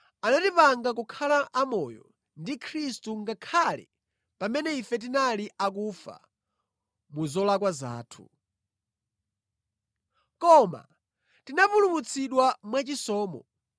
anatipanga kukhala amoyo ndi Khristu ngakhale pamene ife tinali akufa mu zolakwa zathu. Koma tinapulumutsidwa mwachisomo.